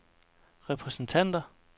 repræsentanter